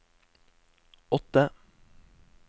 åtte